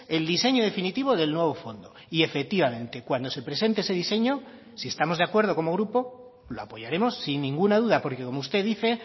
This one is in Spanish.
el diseño definitivo del nuevo fondo y efectivamente cuando se presente ese diseño si estamos de acuerdo como grupo lo apoyaremos sin ninguna duda porque como usted dice